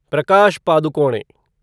Prakash Padukone